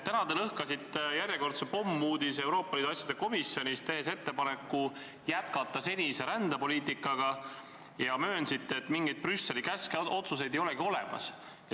Täna te lõhkasite Euroopa Liidu asjade komisjonis järjekordse pommuudise, tehes ettepaneku jätkata senise rändepoliitikaga, ja möönsite, et mingeid Brüsseli käske ja otsuseid ei olegi olemas.